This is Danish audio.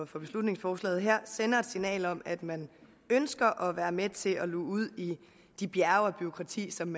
for beslutningsforslaget her sender et signal om at man ønsker at være med til at luge ud i de bjerge af bureaukrati som